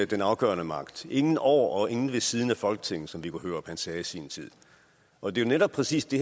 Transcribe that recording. den afgørende magt ingen over og ingen ved siden af folketinget som viggo hørup sagde i sin tid og det er netop præcis det